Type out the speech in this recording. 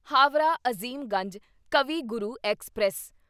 Howrah Azimganj Kavi Guru express